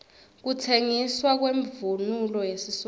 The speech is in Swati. kutsengiswa kwemvunulo yesiswati